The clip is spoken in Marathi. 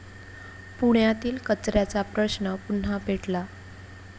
पुण्यातील कचऱ्याचा प्रश्न पुन्हा पेटला